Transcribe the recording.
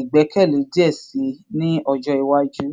igbẹkẹle diẹ sii ni ọjọ iwaju